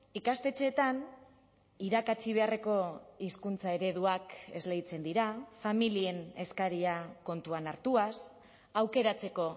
ikastetxeetan irakatsi beharreko hizkuntza ereduak esleitzen dira familien eskaria kontuan hartuaz aukeratzeko